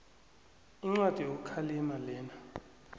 incwadi yokukhalima lena